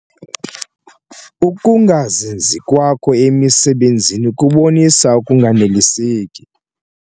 Uukungazinzi kwakho emisebenzini kubonisa ukunganeliseki.